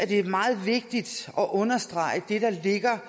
det er meget vigtigt at understrege det der ligger